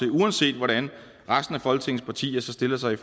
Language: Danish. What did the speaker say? uanset hvordan resten af folketingets partier stiller sig